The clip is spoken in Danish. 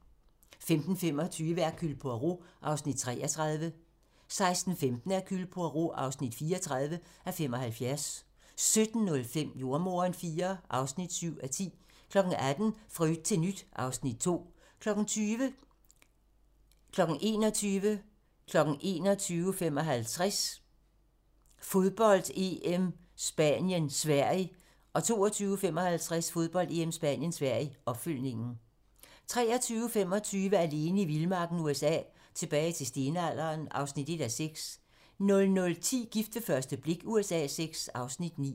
15:25: Hercule Poirot (33:75) 16:15: Hercule Poirot (34:75) 17:05: Jordemoderen IV (7:10) 18:00: Fra yt til nyt (Afs. 2) 20:00: Fodbold: EM - Spanien-Sverige, optakt 21:00: Fodbold: EM - Spanien-Sverige 21:55: Fodbold: EM - Spanien-Sverige 22:55: Fodbold: EM - Spanien-Sverige, opfølgning 23:25: Alene i vildmarken USA: Tilbage til stenalderen (1:6) 00:10: Gift ved første blik USA VI (Afs. 9)